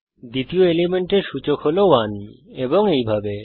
দ্বিতীয় এলিমেন্টের সূচক হল 1 এবং এইভাবে